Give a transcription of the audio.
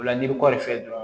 O la n'i bɛ kɔɔri feere dɔrɔn